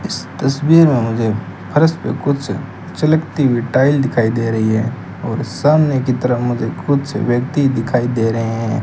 इस तस्वीर में मुझे फर्श पे कुछ चलकती हुई टाइल दिखाई दे रही है और सामने की तरफ मुझे कुछ व्यक्ति दिखाई दे रहे है।